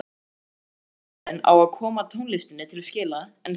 Undirleikarinn á að koma tónlistinni til skila en þú orðinu.